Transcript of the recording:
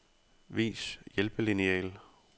Vis hjælpelineal.